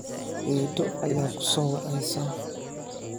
Eedo ayaa ku soo wacaysa.